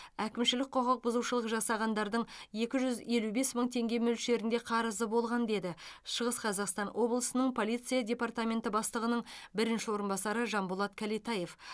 әкімшілік құқықбұзушылық жасағандардың екі жүз елу бес мың теңге мөлшерінде қарызы болған деді шығыс қазақстан облысының полиция департаменті бастығының бірінші орынбасары жанболат кәлетаев